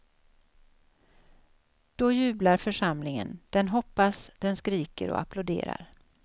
Då jublar församlingen, den hoppas, den skriker och applåderar.